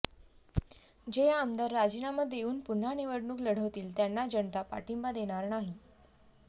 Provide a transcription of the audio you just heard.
जे आमदार राजीनामा देऊन पुन्हा निवडणूक लढवतील त्यांना जनता पाठिंबा देणार नाही